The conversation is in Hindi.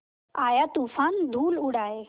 आया तूफ़ान धूल उड़ाए